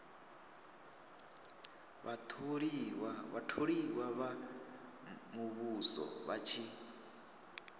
vhatholiwa vha muvhuso vha tshi